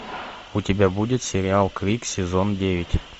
у тебя будет сериал крик сезон девять